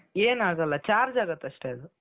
ಏನಾಗಲ್ಲ charge ಆಗುತ್ತೆ ಅಷ್ಟೆ ಅದು.